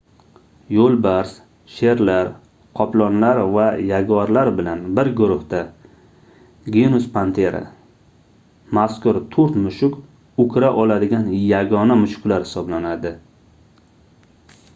yo'lbars sherlar qoplonlar va yaguarlar bilan bir guruhda genus panthera. mazkur to'rt mushuk o'kira oladigan yagona mushuklar hisoblanadi